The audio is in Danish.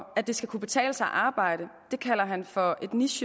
at det skal kunne betale sig at arbejde for